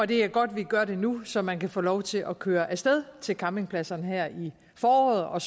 det er godt at vi gør det nu så man kan få lov til at køre af sted til campingpladserne her i foråret og